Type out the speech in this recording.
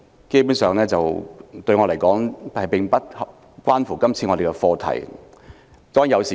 基本上，對我來說，言論自由與今次的課題無關。